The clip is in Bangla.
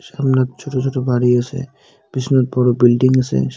সামনায় ছোট ছোট বাড়ি আসে পিছনে বড় বিল্ডিং আসে।